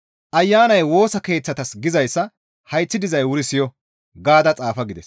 Ayanay Woosa Keeththatas gizayssa hayththi dizay wuri siyo!» gaada xaafa gides.